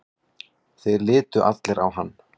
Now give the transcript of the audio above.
Þeir litu allir á hann.